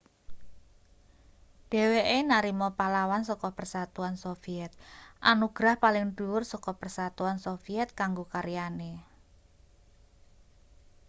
dheweke narima pahlawan saka persatuan soviet anugerah paling dhuwur saka persatuan soviet kanggo karyane